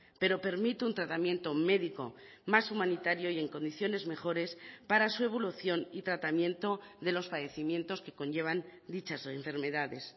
pero permite un tratamiento médico más humanitario y en condiciones mejores para su evolución y tratamiento de los padecimientos que conllevan dichas enfermedades